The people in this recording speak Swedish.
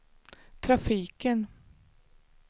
trafiken